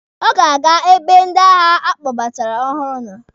Ọ ga-aga ebe ndị agha a kpọbatara ọhụrụ nọ.